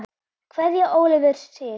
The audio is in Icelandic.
Kveðja Ólafur Sig.